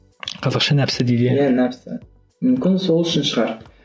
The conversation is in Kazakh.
қазақша нәпсі дейді иә иә нәпсі мүмкін сол үшін шығар